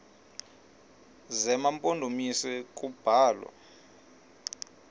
zema mpondomise kubalwa